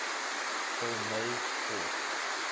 ptolemaic court